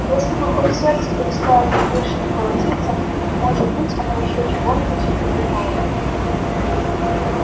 если бы хоть сердце перестало так бешено колотиться может быть она ещё чего-нибудь и придумала бы